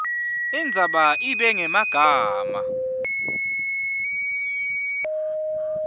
indzaba ibe ngemagama